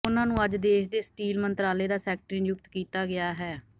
ਉਨ੍ਹਾਂ ਨੂੰ ਅੱਜ ਦੇਸ਼ ਦੇ ਸਟੀਲ ਮੰਤਰਾਲੇ ਦਾ ਸੈਕਟਰੀ ਨਿਯੁਕਤ ਕੀਤਾ ਗਿਆ ਹੈ